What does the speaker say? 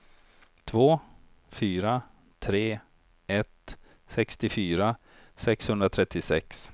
två fyra tre ett sextiofyra sexhundratrettiosex